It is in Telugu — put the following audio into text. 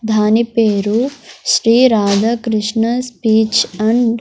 ధాని పేరు శ్రీ రాధాకృష్ణ స్పీచ్ అండ్ --